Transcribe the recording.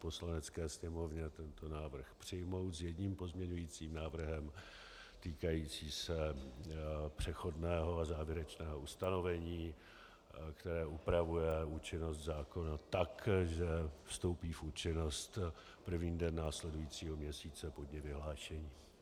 Poslanecké sněmovně tento návrh přijmout s jedním pozměňovacím návrhem týkajícím se přechodného a závěrečného ustanovení, které upravuje účinnost zákona tak, že vstoupí v účinnost první den následujícího měsíce po dni vyhlášení.